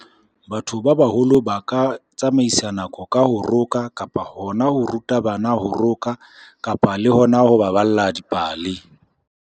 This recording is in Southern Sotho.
Batho ba baholo ba ka tsamaisa nako ka ho roka, kapa hona ho ruta bana ho roka, kapa le hona ho baballa dipale.